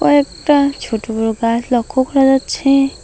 কয়েকটা ছোটো বড়ো গাছ লক্ষ্য করা যাচ্ছে।